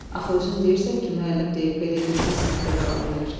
Axı özün deyirsən ki, müəllim deyib belə getsə sinifdə qala bilər.